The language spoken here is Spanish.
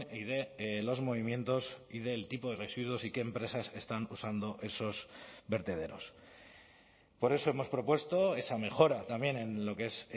y de los movimientos y del tipo de residuos y qué empresas están usando esos vertederos por eso hemos propuesto esa mejora también en lo que es